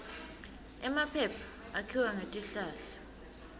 emaphepha akhiwa ngetihlahla